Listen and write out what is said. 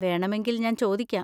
വേണമെങ്കിൽ ഞാൻ ചോദിക്കാം.